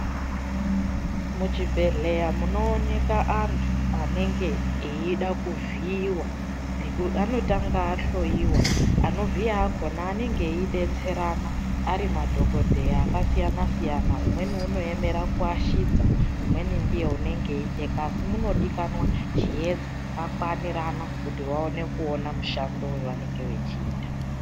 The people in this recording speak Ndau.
Muchibhehlera munooneka anhu anonga eida kuvhiiwa anotanga ahloyiwa anovhiya akona anenge eidetserana ari madhokodheya akasiyanasiyana umweni unoemera kuashidza umweni ndiye unonga eicheka asi munodikanwa chiedza chakakwanirana kuti vaone kuona mushando wavanenge vachiita.